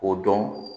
O dɔn